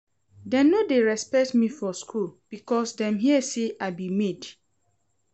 Dem no dey respect me for skool because dem hear sey I be maid.